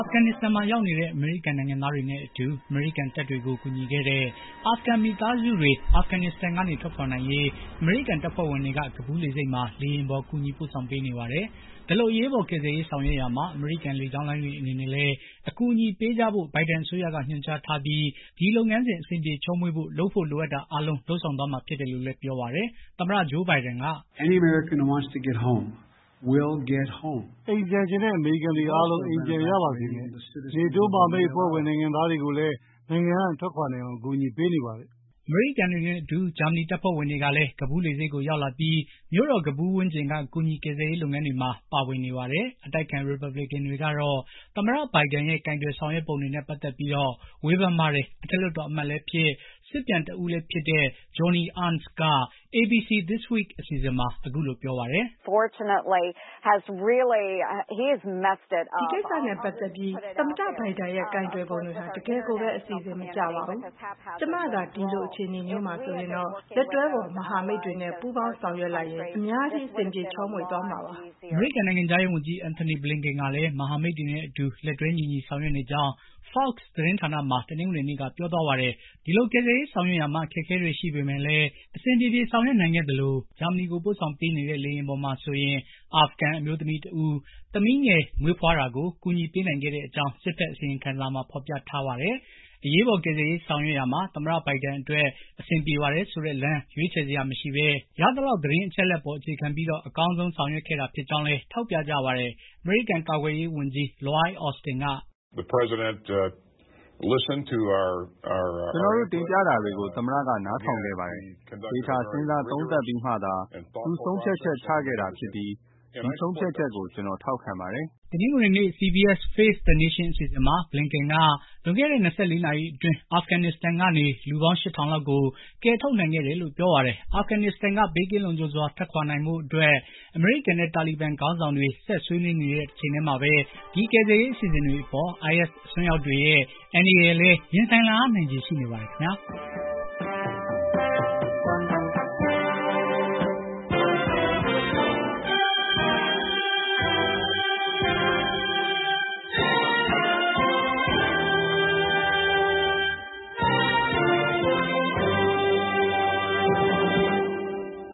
ဖဂန်နစ္စတန်မှာ ရောက်နေတဲ့ အမေရိကန်နိုင်ငံသားတွေနဲ့အတူ အမေရိကန်တပ်တွေကို ကူညီခဲ့တဲ့ အာဖဂန် မိသားစုတွေ အာဖဂန်နစ္စတန်က ထွက်ခွာနိုင်ရေး အမေရိကန် တပ်ဖွဲ့ဝင်တွေက ကဘူးလေဆိပ်မှာ လေယာဉ်ပေါ် ကူညီ ပို့ဆောင်ပေးနေပါတယ်။ ဒီလိုအရေးပေါ် ကယ်ဆယ်ရေး ဆောင်ရွက်ရာမှာ အမေရိကန်လေကြောင်းလိုင်းတွေအနေနဲ့လည်း အကူအညီပေးကြဖို့ ဘိုင်ဒန်အစိုးရက ညွှန်ကြားထားပြီး ဒီလုပ်ငန်းစဉ် အစဉ်ပြေချောမွေ့ဖို့ လုပ်ဖို့ လိုအပ်တာ အားလုံး လုပ်သွားမှာ ဖြစ်တယ်လို့လည်း ပြောပါတယ်။ သမ္မတ ဂျိုးဘိုင်ဒန်က အိမ်ပြန်ချင်တဲ့ အမေရိကန်တွေအားလုံး အိမ်ကို ပြန်ရပါစေမယ်။ NATO မဟာမိတ်အဖွဲ့ ဝင် နိုင်ငံသားတွေကိုလည်း နိုင်ငံက ထွက်ခွာနိုင်အောင် အကူအညီပေးနေပါတယ်။ အမေရိကန်တွေနဲ့အတူ ဂျာမဏီတပ်ဖွဲ့ဝင်တွေလည်း ကဘူးလေဆိပ်ကို ရောက်လာပြီး မြို့တော်ကဘူးဝန်းကျင်က ကူညီကယ်ဆယ်ရေး လုပ်ငန်းတွေမှာ ပါဝင်နေပါတယ်။ အတိုက်အခံ ရီပတ်ဘလစ်ကန်တွေကတော့ သမ္မတ ဘိုင်ဒန်ရဲ့ ကိုင်တွယ်ဆောင်ရွက်ပုံတွေနဲ့ ပတ်သတ်ပြီး ဝေဖန်ပါတယ်။ အထက်လွှတ်တော်အမတ်လည်းဖြစ် စစ်ပြန်တဦးလည်းဖြစ်တဲ့ Joni Ernst က ABC this week အစီအစဉ်မှာ အခုလို ပြောပါတယ်။ ဒီကိစ္စနဲ့ ပတ်သတ်ပြီး သမ္မတ ဘိုင်ဒန်ရဲ့ ကိုင်တွယ်ပုံတွေဟာ တကယ့်ကို အစီအစဉ်မကျပါဘူး။ ကျမသာ ဒီလိုအခြေအနေမျိုးမှာဆိုရင်တော့ လက်တွဲဖေါ်မဟာမိတ်တွေနဲ့ ပူးပေါင်းဆောင်ရွက်လိုက်ရင် အများကြီး အဆင်ပြေချောမွေ့မှာပါ။ အမေရိကန်နိုင်ငံခြားရေး ဝန်ကြီး Antony Blinken. ကလည်း မဟာမိတ်တွေနဲ့ အတူ လက်တွဲညီညီ ဆောင်ရွက်နေကြောင်း Fox သတင်းဌာနမှာ တနင်္ဂနွေနေ့က ပြောသွားပါတယ်။ ဒီလို ကယ်ဆယ်ရေးဆောင်ရွက်ရာမှာ အခက်အခဲတွေ ရှိပေမယ့်လည်း အဆင်ပြေပြေ ဆောင်ရွက်နိုင်ခဲ့သလို ဂျာမဏီကို ပို့ဆောင်ပေးနေတဲ့ လေယာဉ်ပေါ်မှာဆိုရင် အာဖဂန်အမျိုးသမီး သမီးငယ်တဦးမွေးဖွားတာကိုလည်း ကူညီပေးနိုင်ခဲ့ကြောင်း စစ်ဖက်အစီရင်ခံစာမှာ ဖေါ်ပြထားတာပါ။ အရေးပေါ်ကယ်ဆယ်ရေးဆောင်ရွက်ရာမှာ သမ္မတဘိုင်ဒန်အတွက် အဆင်ပြေပါတယ်ဆိုတဲ့ လမ်း ရွေးချယ်စရာမရှိဘဲ ရသလောက် သတင်းအချက်အလက်ပေါ် အခြေခံ ပြီး အကောင်း ဆုံး ဆောင်ရွက်ခဲ့တာဖြစ်ကြောင်းလည်း ထောက်ပြကြပါတယ်။ အမေရိကန် ကာကွယ်ရေးဝန်ကြီး Lloyd Austin. က ကျနော်တို့ တင်ပြတာတွေကို သမ္မတက နားထောင်ခဲ့ပါတယ်။ သေချာ စဉ်းစားသုံးသပ်ပြီးမှသာ သူ ဆုံးဖြတ်ချက် ချခဲ့တာဖြစ်ပြီး ဒီဆုံးဖြတ်ချက်ကို ကျနော် ထောက်ခံပါတယ။် တနင်္ဂနွေနေ့ CBS face the nation. အစီအစဉ်မှာ ဘလင်ကန်က လွန်ခဲ့တဲ့ ၂၄ နာရီအတွင်း အာဖဂန်နစ္စတန်ကနေ လူပေါင်း ၈၀၀၀ လောက်ကို ကယ်ထုတ်နိုင်ခဲ့တယ်လို့ ပြောပါတယ်။ အာဖဂန်နစ္စတန်က ဘေးကင်းလုံခြုံစွာ ထွက်ခွာနိုင်ဖို့အတွက် အမေရိကန်နဲ့ တာလီဘန် ခေါင်းဆောင်တို့ ဆက်ဆွေးနေတဲ့ တချိန်တည်းမှာပဲ ဒီကယ်ဆယ်ရေးအစီအစဉ်တွေအပေါ် IS အစွန်းရောက်တွေရဲ့ အန္တရာယ်လည်း ရင်ဆိုင်လာရနိုင်ပါတယ်ခင်ဗျာ။